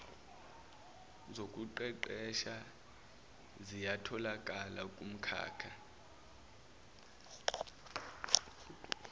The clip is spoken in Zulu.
zokuqeqesha ziyatholakala kumkhakha